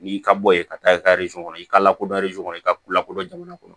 N'i ka bɔ ye ka taa i ka kɔnɔ i ka lakodɔn kɔnɔ i ka ko lakodɔn jamana kɔnɔ